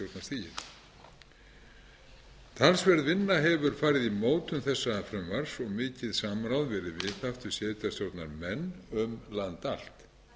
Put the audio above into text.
sveitarstjórnarstigið talsverð vinna hefur farið í mótun þessa frumvarps og mikið samráð verið viðhaft við sveitarstjórnarmenn um land allt